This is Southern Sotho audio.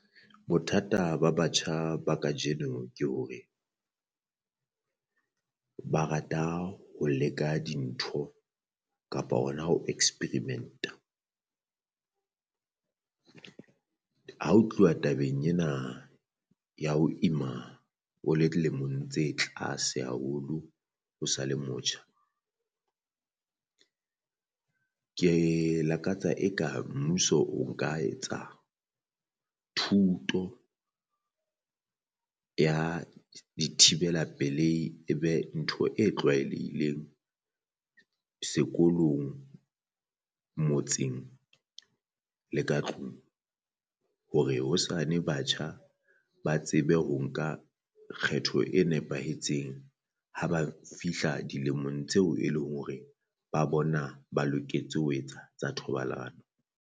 Bothata ba batjha ba kajeno ke hore ba rata ho leka dintho kapa ona ho experiment-a, ha o tluwa tabeng ena ya ho ima o le dilemong tse tlase haholo o sa le motjha. Ke lakatsa e ka mmuso o nka etsang thuto ya di thibela pelehi e be ntho e tlwaelehileng sekolong motseng le ka tlung, hore hosane batjha ba tsebe ho nka kgetho e nepahetseng ha ba fihla dilemong tseo e leng hore ba bona ba loketse ho etsa tsa thobalano.